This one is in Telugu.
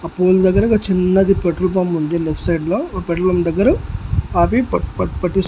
ఆ పువ్వులు దగ్గర ఒక చిన్నది పెట్రోల్ పంప్ ఉంది లెఫ్ట్ సైడ్ లో ఓ పెట్రోల్ పంప్ దగ్గర ఆపి పట్-పట్ పట్టిస్ --